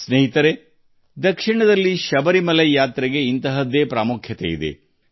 ಸ್ನೇಹಿತರೇ ದಕ್ಷಿಣದಲ್ಲಿ ಶಬರಿಮಲೆ ಯಾತ್ರೆಗೆ ಅಷ್ಟೇ ಮಹತ್ವವಿದೆ